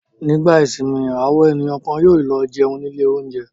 Nígbà ìsìnmi àwọn ènìyàn kan yóò lọ jẹun ní ilé-oúnjẹ.